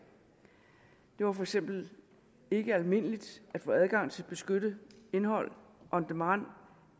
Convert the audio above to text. det var for eksempel ikke almindeligt at få adgang til beskyttet indhold on demand